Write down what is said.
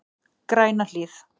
Grænahlíð